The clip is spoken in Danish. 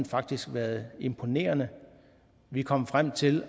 faktisk været imponerende vi kom frem til